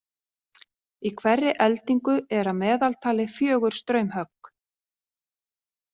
Í hverri eldingu eru að meðaltali fjögur straumhögg.